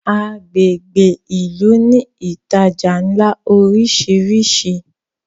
agbègbè ilú ní ìtajà nlá orisiri